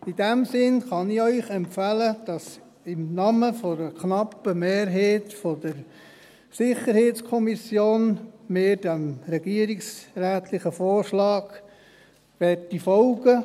In diesem Sinne kann ich Ihnen empfehlen, im Namen einer knappen Mehrheit der SiK, diesem regierungsrätlichen Vorschlag zu folgen.